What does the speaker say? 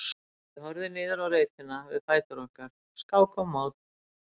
Ég horfði niður á reitina við fætur okkar, skák og mát.